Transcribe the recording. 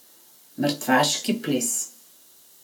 Mrtvaški ples.